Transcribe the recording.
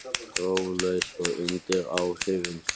Próflaus og undir áhrifum